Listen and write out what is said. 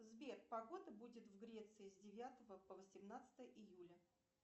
сбер погода будет в греции с девятого по восемнадцатое июля